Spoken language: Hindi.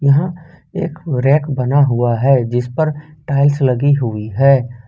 यह एक रैक बना हुआ हैं जिसपर टाइल्स लगी हुई है।